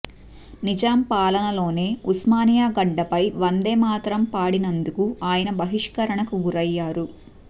నిజాం పాలనలోనే ఉస్మానియా గడ్డపై వందేమాతరం పాడినందుకు ఆయన బహిష్కరణకు గురయ్యారు